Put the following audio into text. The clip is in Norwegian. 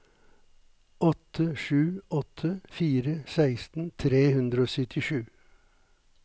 åtte sju åtte fire seksten tre hundre og syttisju